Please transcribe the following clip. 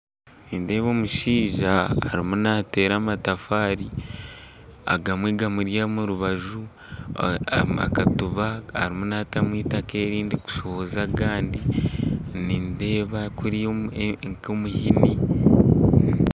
Nindeeba omushaija arimu nateera amatafaari agamwe gamuri omu rubaju akatiba arimu naatamu eitaaka erindi kushohoza agandi nindeeba kuriya nk'omuhini